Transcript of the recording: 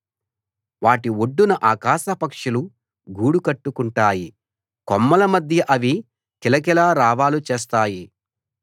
వాటి ఒడ్డున ఆకాశపక్షులు గూడు కట్టుకుంటాయి కొమ్మల మధ్య అవి కిలకిలారావాలు చేస్తాయి